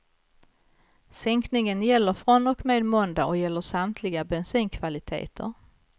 Sänkningen gäller från och med måndag och gäller samtliga bensinkvaliteter.